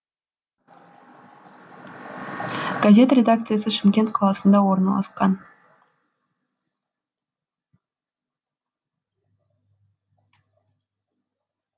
газет редакциясы шымкент қаласында орналасқан